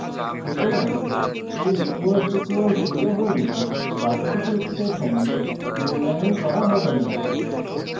সুতরাং a == zero হলে বাকি দুটি এক্সপ্রেশন মূল্যায়ন করা হবে so